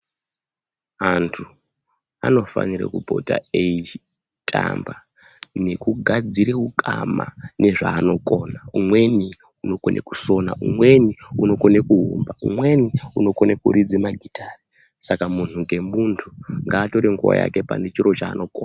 Antu anofanire kupota eyitamba nekugadzire wukama nezvanokona. Umweni ukone kusona, umweni unokone kuwumba, umweni unokone kuridze magitha. Saka munthu ngemunthu ngatore nguwa yake panechiro chanokhona.